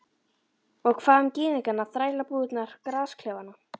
Og hvað um gyðingana, þrælabúðirnar, gasklefana?